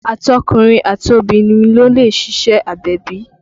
Àtọkùnrin àtọbìrin ni ó lè ṣíṣe agbẹ̀bí